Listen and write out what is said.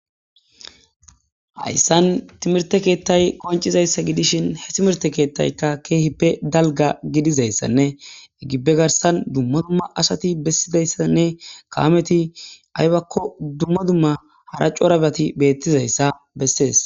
hayssan timirte keettay koncizayssa gidishin he timirte keettayka keehippe dalga gidizayssanne egibbe garsan dumma dumma asati bessidayssanne kawameti aybakko dumma dumma hara corabati beettizayssa bessees